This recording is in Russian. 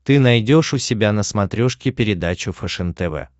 ты найдешь у себя на смотрешке передачу фэшен тв